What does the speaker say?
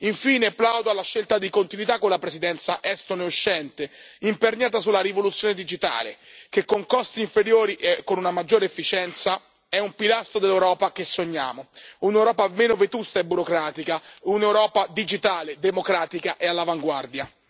Infine plaudo alla scelta di continuità con la Presidenza estone uscente, imperniata sulla rivoluzione digitale che, con costi inferiori e con una maggiore efficienza, è un pilastro dell'Europa che sogniamo, un'Europa meno vetusta e burocratica, un'Europa digitale, democratica e all'avanguardia.